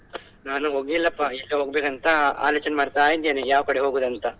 ನಾನ್ ಹೋಗಿಲ್ಲಪ್ಪ ಎಲ್ಲಿ ಹೋಗ್ಬೇಕ್ ಅಂತ ಆಲೋಚನೆ ಮಾಡ್ತಾ ಇದ್ದೇನೆ ಯಾವ್ ಕಡೆ ಹೋಗುದ್ ಅಂತ.